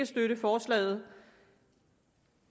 støtte forslaget